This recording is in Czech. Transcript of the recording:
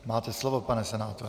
Máte slovo, pane senátore.